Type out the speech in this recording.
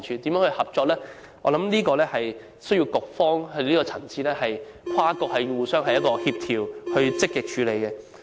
在這方面，我相信需要在局方的層次跟進，跨局互相協調，積極處理。